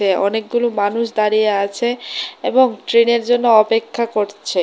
আঃ অনেকগুলি মানুষ দাঁড়িয়ে আছে এবং ট্রেনের জন্য অপেক্ষা করছে।